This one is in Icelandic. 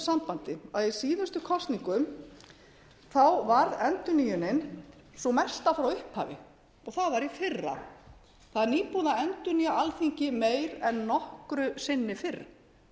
sambandi í síðustu kosningum varð endurnýjunin sú mesta frá upphafi og það var í fyrra það er nýbúið að endurnýja alþingi meira en nokkru sinni fyrr í kosningum tvö